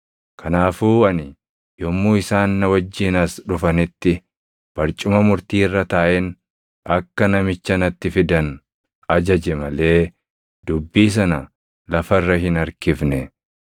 Kanaafuu ani yommuu isaan na wajjin as dhufanitti barcuma murtii irra taaʼeen akka namicha natti fidan ajaje malee dubbii sana lafa irra hin harkifne.